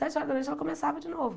Sete horas da noite ela começava de novo.